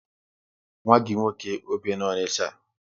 Nwa gị nwoke ọ bi na Onicha?